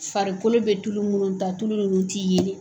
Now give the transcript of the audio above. Farikolo bɛ tulu munnu ta tulu nunnu ti yelen.